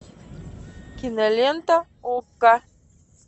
кинолента окко